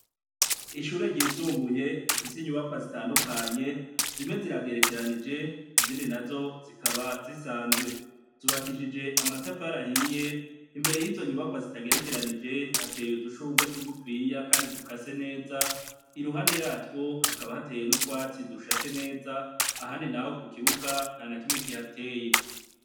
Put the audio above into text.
Ishure ryisumbuye rifise inyubakwa zitandukanye zimwe ziragerekeranije izindi nazo zikaba zisanzwe zubakishijwe amatafari ahiye imbere yizo nyubakwa zitagerekeranije hateye udushugwe tugufinya kandi dukase neza iruhande yatwo hakaba hateye nutwatsi dushashe neza ahamdi naho ku kibuga ntanakimwe kihateye